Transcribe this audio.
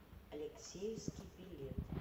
алексеевский билет